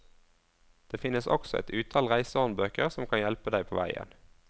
Det finnes også et utall reisehåndbøker som kan hjelpe deg på veien.